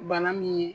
Bana min ye